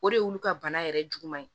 O de y'olu ka bana yɛrɛ juguman ye